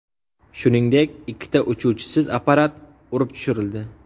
Shuningdek, ikkita uchuvchisiz apparat urib tushirildi.